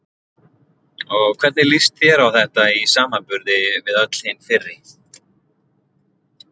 Og hvernig líst þér á þetta í samanburði við öll hin fyrri?